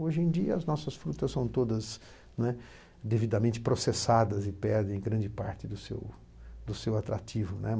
Hoje em dia, as nossas frutas são todas, né, devidamente processadas e perdem grande parte do seu do seu atrativo, né.